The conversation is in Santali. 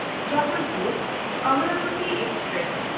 ᱡᱚᱵᱚᱞᱯᱩᱨ–ᱚᱢᱨᱟᱵᱚᱛᱤ ᱮᱠᱥᱯᱨᱮᱥ